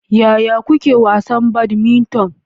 Yaya kuke wasa badminton?